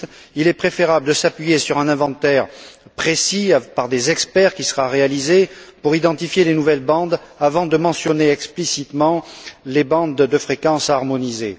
8 il est préférable de s'appuyer sur un inventaire précis, rédigé par des experts en vue d'identifier les nouvelles bandes avant de mentionner explicitement les bandes de fréquences harmonisées.